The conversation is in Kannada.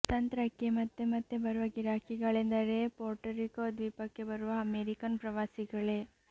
ತಂತ್ರಕ್ಕೆ ಮತ್ತೆಮತ್ತೆ ಬರುವ ಗಿರಾಕಿಗಳೆಂದರೆ ಪೊರ್ಟರಿಕೊ ದ್ವೀಪಕ್ಕೆ ಬರುವ ಅಮೆರಿಕನ್ ಪ್ರವಾಸಿಗಳೇ